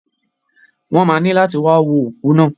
Wọn má ni lati wa wo oku naa.